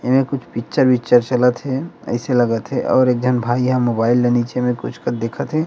इसमें पिक्चर उक्चर चलथ हे ऐसे लागथ हे अउ एक झन भाई ह मोबाइल लेके निचे कुछ को देखत हे ।